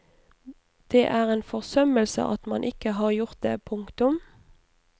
Det er en forsømmelse at man ikke har gjort det. punktum